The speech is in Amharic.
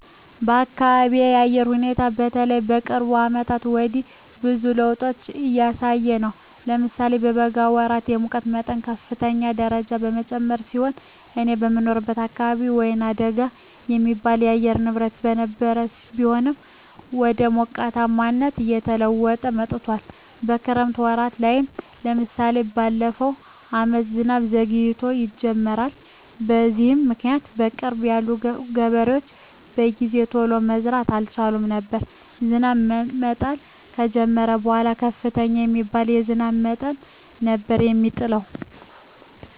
የአካቢየ የአየር ሁኔታ በተለይ ከቅርብ አመታት ወዲህ ብዙ ለዉጦች እያሳየ ነው። ለምሳሌ የበጋ ወራት የሙቀት መጠን በከፍተኛ ደረጃ የጨመረ ሲሆን እኔ የምኖርበት አካባቢ ወይናደጋ የሚባል የአየር ንብረት የነበረው ቢሆንም ወደ ሞቃታማነት እየተለወጠ መጥቶአል። የክረምት ወራት ላይም ለምሳሌ በለፈው አመት ዝናብ ዘግይቶ የጀመረው። በዚህም ምክኒያት በቅርብ ያሉ ገበሬዎች በጊዜ ቶሎ መዝራት አልቻሉም ነበር። ዝናብ መጣል ከጀመረም በኃላ ከፍተኛ የሚባል የዝናብ መጠን ነበር የሚጥለው።